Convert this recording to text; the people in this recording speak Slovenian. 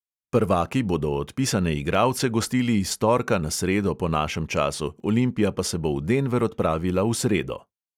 Prvaki bodo odpisane igralce gostili iz torka na sredo po našem času, olimpija pa se bo v denver odpravila v sredo.